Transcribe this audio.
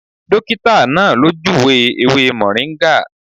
Dọ́kítà náà ló júùwé ewé mọ̀ríngà.